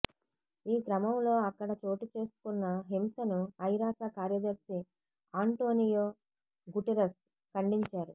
ఈ క్రమంలో అక్కడ చోటుచేసుకున్న హింసను ఐరాస కార్యదర్శి ఆంటోనియో గుటెరస్ ఖండించారు